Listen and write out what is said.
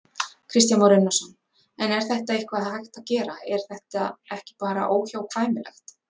Kristján Már Unnarsson: En er eitthvað hægt að gera, er þetta ekki bara óhjákvæmilegt?